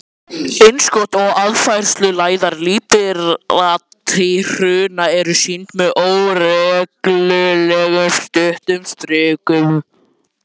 Innskot og aðfærsluæðar líparíthrauna eru sýnd með óreglulegum, stuttum strikum.